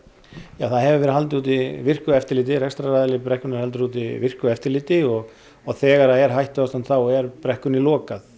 það hefur verið haldið úti virku eftirliti rekstraraðili brekkunnar heldur úti virku eftirliti og þegar er hættuástand þá er brekkunni lokað